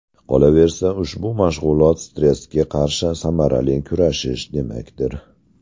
Qolaversa, ushbu mashg‘ulot stressga qarshi samarali kurashish demakdir.